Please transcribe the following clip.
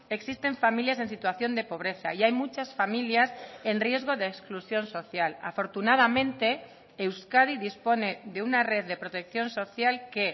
existen familias en situación de pobreza y hay muchas familias en riesgo de exclusión social afortunadamente euskadi dispone de una red de protección social que